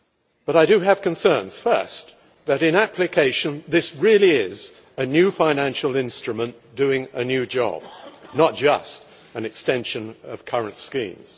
But I do have concerns first that, in application, this really is a new financial instrument doing a new job, not just an extension of current schemes